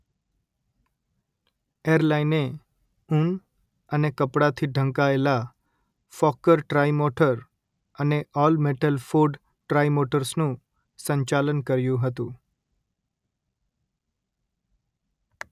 એરલાઇને ઊન અને કપડાંથી ઢંકાયેલા ફોક્કર ટ્રાઇમોટર અને ઓલ-મેટલ ફોર્ડ ટ્રાઇમોટર્સનું સંચાલન કર્યું હતું